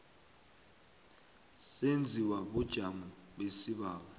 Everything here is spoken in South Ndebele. senziwa bunjani isibawo